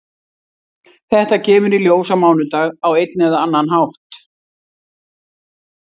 Þetta kemur í ljós á mánudag á einn eða annan hátt.